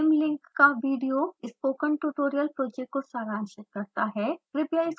निम्न लिंक का video spoken tutorial project को सारांशित करता है